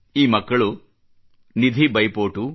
ಈ ಮಕ್ಕಳು ನಿಧಿ ಬೈಪೋಟು